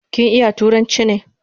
Kin iya turanchi ne?